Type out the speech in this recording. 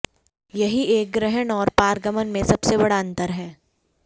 यही एक ग्रहण और पारगमन में सबसे बड़ा अंतर है